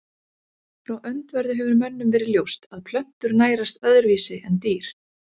Frá öndverðu hefur mönnum verið ljóst að plöntur nærast öðruvísi en dýr.